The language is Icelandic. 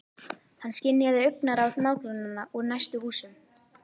Hann skynjaði augnaráð nágrannanna úr næstu húsum.